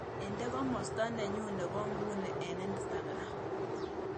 Inde komosta nenyun ne po nguno eng' instagram